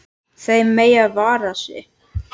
Þau mega vara sig.